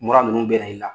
Mura ninnu bɛ na i la